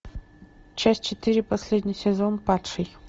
часть четыре последний сезон падший